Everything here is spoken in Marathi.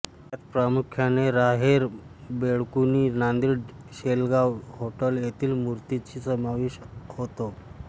त्यात प्रामुख्याने राहेर बेळकुणी नांदेड शेलगांव होट्टल येथील मूर्तीचा समावेश होतो